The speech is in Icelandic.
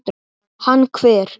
Hann hver?